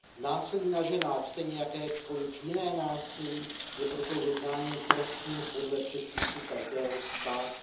Násilí na ženách stejně jako jakékoliv jiné násilí je proto jednáním trestným podle předpisů každého státu.